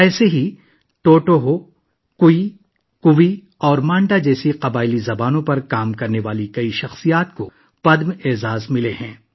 اسی طرح ٹوٹو، ہو، کوی، کوی اور منڈا جیسی قبائلی زبانوں پر کام کرنے والی بہت سی عظیم شخصیات کو پدم ایوارڈ سے نوازا گیا ہے